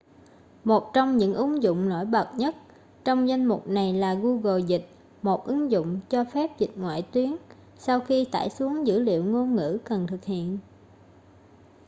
một trong những ứng dụng nổi bật nhất trong danh mục này là google dịch một ứng dụng cho phép dịch ngoại tuyến sau khi tải xuống dữ liệu ngôn ngữ cần thực hiện